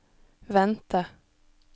vente